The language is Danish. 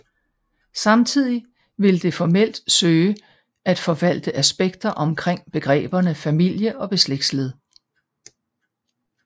Samtidigt vil det formelt søge at forvalte aspekter omkring begreberne familie og beslægtethed